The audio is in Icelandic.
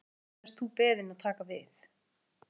Hvenær ert þú beðinn að taka við?